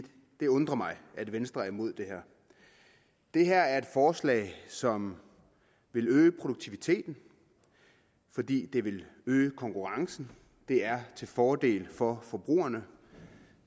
det undrer mig at venstre er imod det her det her er et forslag som vil øge produktiviteten fordi det vil øge konkurrencen det er til fordel for forbrugerne